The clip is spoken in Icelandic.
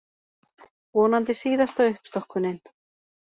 Vonandi síðasta uppstokkunin